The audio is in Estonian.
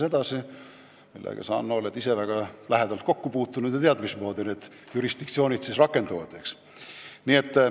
Sellega oled sa, Hanno, ise väga lähedalt kokku puutunud ja tead, mismoodi jurisdiktsioon siis rakendub.